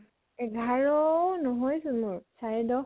এঘাৰ নহয় চোন মোৰ, চাৰে দশ।